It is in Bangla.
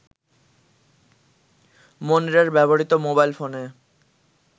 মনিরের ব্যবহৃত মোবাইল ফোনে